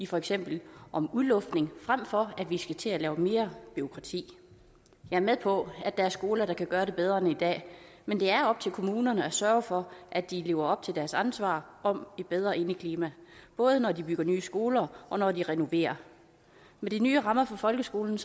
for eksempel om udluftning frem for at vi skal til at lave mere bureaukrati jeg er med på at der er skoler der kan gøre det bedre end i dag men det er op til kommunerne at sørge for at de lever op til deres ansvar om et bedre indeklima både når de bygger nye skoler og når de renoverer med de nye rammer for folkeskolen